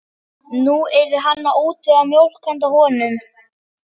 Nú yrði hann að útvega mjólk handa honum.